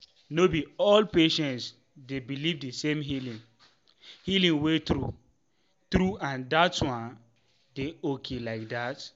no be all patients dey believe the same healing healing way true true—and that one dey okay like that.